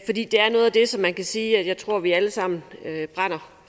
det som man kan sige at jeg tror vi alle sammen brænder